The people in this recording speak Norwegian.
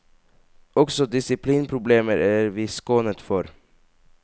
Også disiplinproblemer er vi skånet for.